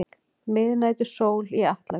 Miðnætursól í Atlavík.